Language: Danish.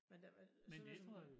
Men det var sådan noget som